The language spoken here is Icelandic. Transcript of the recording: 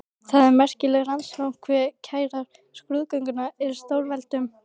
Það er merkilegt rannsóknarefni hve kærar skrúðgöngur eru stórveldum.